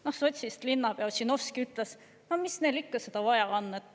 Noh sotsist linnapea Ossinovski ütles: "No mis neil ikka seda vaja on?